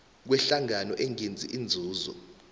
kwehlangano engenzi inzuzo